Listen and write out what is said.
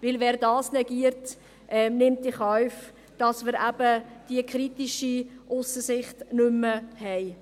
Denn wer dies negiert, nimmt in Kauf, dass wir eben die kritische Aussensicht nicht mehr haben.